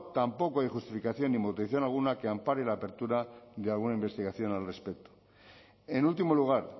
tampoco hay justificación ni motivación alguna que ampare la apertura de alguna investigación al respecto en último lugar